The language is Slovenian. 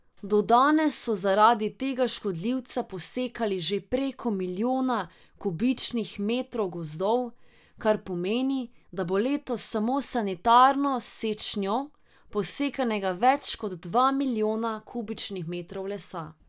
Do danes so zaradi tega škodljivca posekali že preko milijona kubičnih metrov gozdov, kar pomeni, da bo letos samo s sanitarno sečnjo posekanega več kot dva milijona kubičnih metrov lesa.